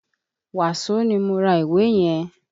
Wàsó ni mo ra ìwé yẹn.